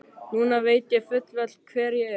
Núna veit ég fullvel hver ég er.